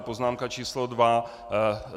A poznámka číslo dva.